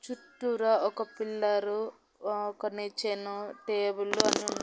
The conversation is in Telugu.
చుట్టూరా ఒక పిల్లరు అహ్ ఒక నిచ్చెన టేబులు అన్ని ఉన్నాయి.